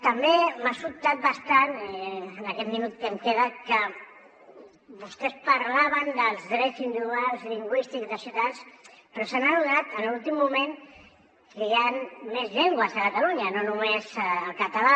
també m’ha sobtat bastant en aquest minut que em queda que vostès parlaven dels drets individuals lingüístics dels ciutadans però s’han adonat en l’últim moment que hi han més llengües a catalunya no només el català